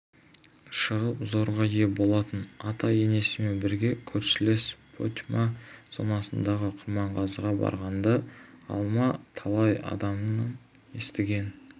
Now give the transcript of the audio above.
шығып зорға ие болатынын ата-енесімен бірге көршілес потьма зонасындағы құрманғазыға барғанда алма талай адамнан естіген